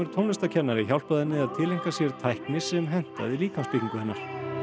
tónlistarkennari hjálpaði henni að tileinka sér tækni sem hentaði líkamsbyggingu hennar